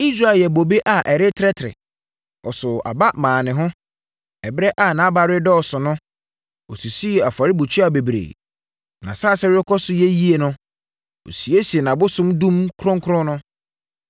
Israel yɛɛ bobe a ɛretrɛtrɛ; ɔsoo aba maa ne ho. Ɛberɛ a nʼaba redɔɔso no, ɔsisii afɔrebukyia bebree; nʼasase rekɔ so yɛ yie no ɔsiesie nʼabosom dum kronkron no.